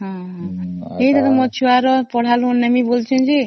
ମୁଁ ଛୁଆ ର ପଢା ପାଇଁ ନେବି କହୁଛି